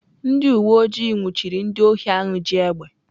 Ndị uwe ojii nwụchiri ndị ohi ahụ ji egbe.